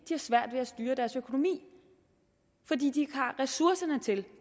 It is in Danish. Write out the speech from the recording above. har svært ved at styre deres økonomi fordi de har ressourcerne til